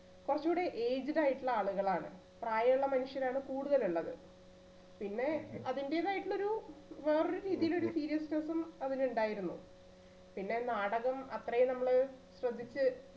കുറച്ചൂടെ aged ആയിട്ടുള്ള ആളുകളാണ് പ്രായുള്ള മനുഷ്യരാണ് കൂടുതലുള്ളത്. പിന്നെ അതിന്റേതായിട്ടുള്ള ഒരു വേറൊരു രീതിയിൽ ഒരു seriousness ഉം അതിനുണ്ടായിരുന്നു. പിന്നെ നാടകം അത്രയും നമ്മള് ശ്രദ്ധിച്ച്